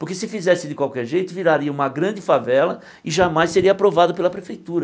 Porque se fizesse de qualquer jeito, viraria uma grande favela e jamais seria aprovada pela prefeitura.